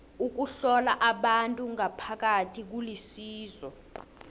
ukuhlola abantu ngaphakathi kulisizo